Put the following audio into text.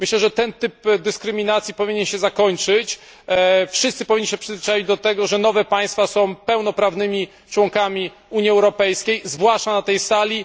Myślę, że ten typ dyskryminacji powinien się zakończyć, wszyscy powinni się przyzwyczaić do tego, że nowe państwa są pełnoprawnymi członkami Unii Europejskiej, zwłaszcza na tej sali.